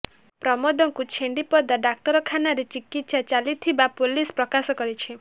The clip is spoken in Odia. ପ୍ରମୋଦଙ୍କୁ ଛେଣ୍ଡିପଦା ଡାକ୍ତରଖାନାରେ ଚିକିତ୍ସା ଚାଲିଥିବା ପୋଲିସ ପ୍ରକାଶ କରିଛି